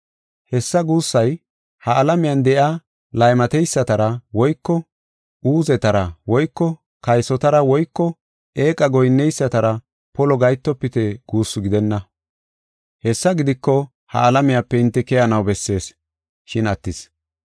Hessa guussay ha alamiyan de7iya laymateysatara woyko uuzetara woyko kaysotara woyko eeqa goyinneysatara polo gahetofite guussu gidenna. Hessa gidiko, ha alamiyape hinte keyanaw bessees shin attis.